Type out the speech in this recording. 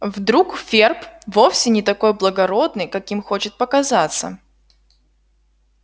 вдруг ферл вовсе не такой благородный каким хочет показаться